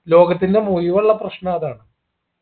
ലോകത്തിന്റെ മുഴുവുള്ള പ്രശ്ന അതാണ്